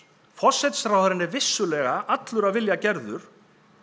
forsætisráðherrann er vissulega allur af vilja gerður